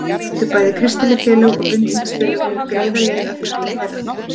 Því áttu bæði kristileg félög og bindindisfélög greiða leið að hjörtum þeirra.